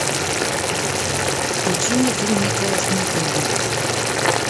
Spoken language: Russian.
включи мне фильм николас никлби